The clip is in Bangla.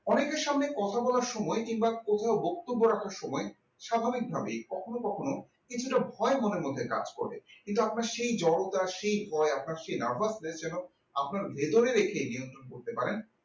অনেকের সামনে কথা বলার সময় কিংবা কোথাও বক্তব্য রাখার সময় স্বাভাবিকভাবেই কখনো কখনো কিছুটা ভয় মনের মধ্যে কাজ করবে কিন্তু আপনার সেই জরতা সেই ভয় আপনার সেই narves দের যেন আপনার ভেতরে রেখেই নিয়ন্ত্রণ করতে পারেন।